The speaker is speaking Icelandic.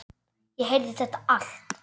Ég heyrði þetta allt.